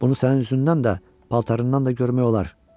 Bunu sənin üzündən də, paltarından da görmək olar.